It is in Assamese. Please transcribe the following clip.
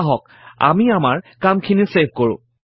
আহক আমি আমাৰ কামখিনি ছেভ কৰো